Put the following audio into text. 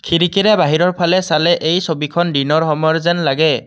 খিৰিকীৰে বাহিৰৰ ফালে চালে এই ছবিখন দিনৰ সময়ৰ যেন লাগে।